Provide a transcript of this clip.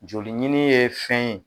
Joli ɲini ye fɛn ye